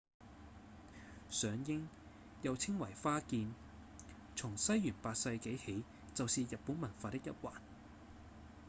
賞櫻又稱為「花見」從西元8世紀起就是日本文化的一環